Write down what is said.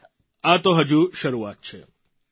અને આ તો હજુ શરૂઆત છે